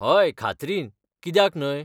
हय, खात्रीन, कित्याक न्हय?